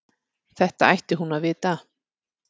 Þetta ætti hún að vita.